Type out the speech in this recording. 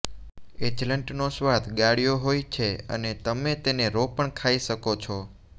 hazelnut નો સ્વાદ ગાળ્યો હોઈ છે અને તમે તેને રો પણ ખાઈ શકો છો